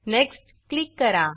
next next click करा